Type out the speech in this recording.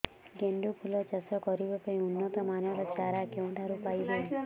ଗେଣ୍ଡୁ ଫୁଲ ଚାଷ କରିବା ପାଇଁ ଉନ୍ନତ ମାନର ଚାରା କେଉଁଠାରୁ ପାଇବୁ